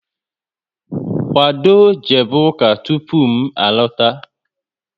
Kwado jebe ụka tụpụ m alota!